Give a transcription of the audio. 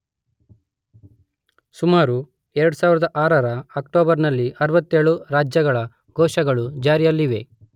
ಸುಮಾರು 2006 ರ ಅಕ್ಟೋಬರ್ ನಲ್ಲಿ ಅರವತ್ತೇಳು ರಾಜ್ಯಗಳು ಘೋಷಗಳ ಜಾರಿಯಲ್ಲಿವೆ.